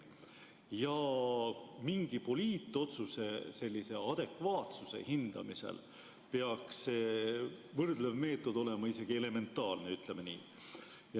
Ja mingi poliitotsuse sellise adekvaatsuse hindamisel peaks võrdlev meetod olema isegi elementaarne, ütleme nii.